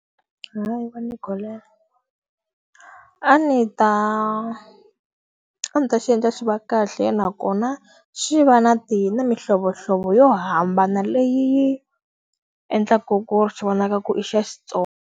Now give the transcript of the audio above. A ndzi ta a ndzi ta xi endla xi va kahle nakona, swi va na na mihlovohlovo yo hambana leyi yi endlaka ku ri xi vonaka ku i xa xitsonga.